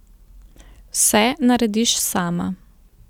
Vse narediš sama.